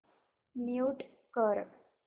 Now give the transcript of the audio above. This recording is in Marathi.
म्यूट कर